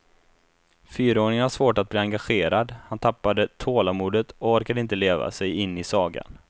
Fyraåringen har svårt att bli engagerad, han tappade tålamodet och orkade inte leva sig in i sagan.